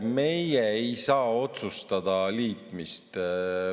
Meie ei saa otsustada liitmist.